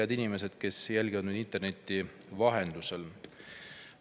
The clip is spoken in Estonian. Head inimesed, kes jälgivad meid interneti vahendusel!